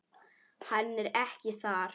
Hann er ekki þar.